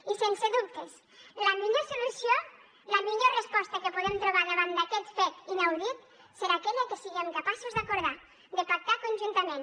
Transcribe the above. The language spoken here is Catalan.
i sense dubtes la millor solució la millor resposta que podem trobar davant d’aquest fet inaudit serà aquella que siguem capaços d’acordar de pactar conjuntament